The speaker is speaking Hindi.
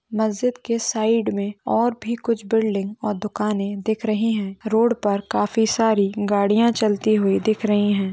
मस्जिद के साइड मे और भी कुछ बिल्डिंग और दुकाने दिख रही है रोड पर काफी सारी गड़िया चलती हुई दिख रही है।